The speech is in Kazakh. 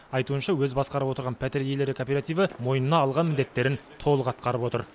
айтуынша өзі басқарып отырған пәтер иелері кооперативі мойнына алған міндеттерін толық атқарып отыр